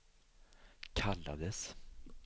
kallades